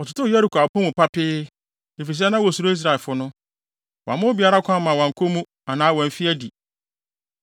Wɔtotoo Yeriko apon mu papee, efisɛ na wosuro Israelfo no. Wɔamma obiara kwan ma wankɔ mu anaa wamfi adi.